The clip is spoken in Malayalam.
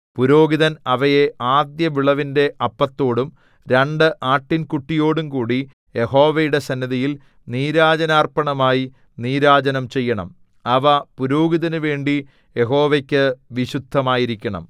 പുരോഹിതൻ അവയെ ആദ്യവിളവിന്റെ അപ്പത്തോടും രണ്ട് ആട്ടിൻകുട്ടിയോടുംകൂടി യഹോവയുടെ സന്നിധിയിൽ നീരാജനാർപ്പണമായി നീരാജനം ചെയ്യണം അവ പുരോഹിതനുവേണ്ടി യഹോവയ്ക്കു വിശുദ്ധമായിരിക്കണം